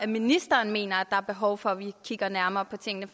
ministeren mener er behov for vi kigger nærmere på tingene